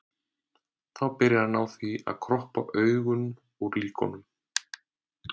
Þá byrji hann á því að kroppa augun úr líkunum.